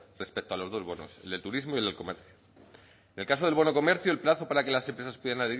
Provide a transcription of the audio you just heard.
respecto a los dos bonos el de turismo y el de comercio en el caso del bono comercio el plazo para que las empresas pudieran